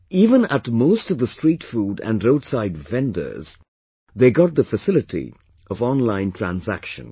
Even at most of the street food and roadside vendors they got the facility of online transaction